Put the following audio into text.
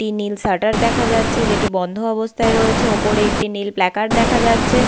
একটি নীল শাটার দেখা যাচ্ছে যেটি বন্ধ অবস্থায় রয়েছে। ওপরে একটি নীল প্ল্যাকার্ড দেখা যাচ্ছে।